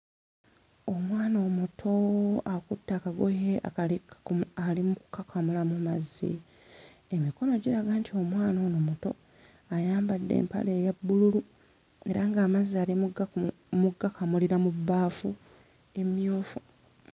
Omwana omuto akutte akagoye akali ka mu ali mu kkakamulamu mazzi emikono giraga nti omwana ono muto ayambadde empale eya bbululu era ng'amazzi ali mu gga mu ggakamulira mu bbaafu emmyufu.